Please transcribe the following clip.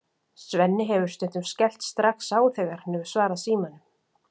Svenni hefur stundum skellt strax á þegar hann hefur svarað símanum.